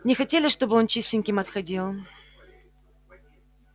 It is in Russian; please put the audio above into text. не хотели чтобы он чистеньким отходил